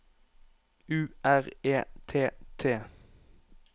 U R E T T